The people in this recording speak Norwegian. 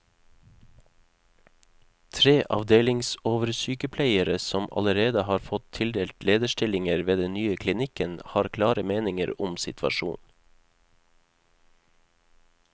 Tre avdelingsoversykepleiere, som allerede har fått tildelt lederstillinger ved den nye klinikken, har klare meninger om situasjonen.